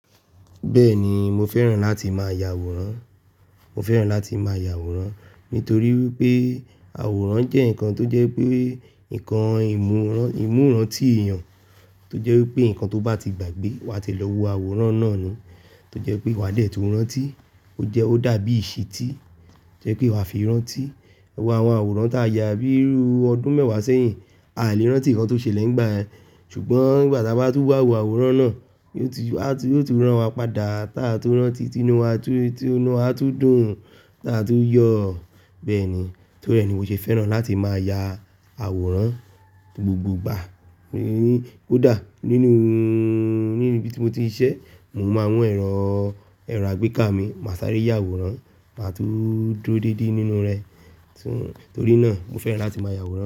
Bẹ́ẹ̀ni, mo fẹ́ràn láti máa ya àwòrán, mo fẹ́ràn láti máa ya àwòrán nítorí wípé àwòrán jẹ́ ǹkan tó jẹ́ pé ǹkan ìmúran, ìmúran ti èèyàn tó jẹ́ wípé ǹkan tó bá ti gbàgbé wa ti lọ wo àwòrán náà ni, tó jẹ́ pé wa dẹ̀ tó rántí ó jẹ́ ó dàbí ìṣítí tó jẹ́ pé wa fi rántí. Wọ àwọn àwòrán tí a ya bíi ru ọdún mẹ́wàá sẹ́yìn, a lè rántí ǹkan tó ṣẹlẹ̀ nígbà yẹn ṣùgbọ́n ìgbà ta bá tún wá wo àwòrán náà yóò tú ràn wa padà ta tun rántí, inú wa tún, inú wa tún dùn ta tun yọ bẹ́ẹ̀ni torí ẹ ni mi o ṣe fẹ́ràn láti máa ya àwòrán gbogbo ìgbà. Ko dà nínú, níbi tí mo ti ń ṣiṣẹ́ mo máa ń mú ẹ̀rọ, ẹ̀rọ àgbéká mi, mà sáré ya àwòrán màá tún dúró dédé nínú rẹ̀ torí náà mo fẹ́ràn láti máa ya àwòrán.